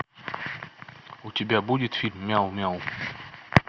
у тебя будет фильм мяу мяу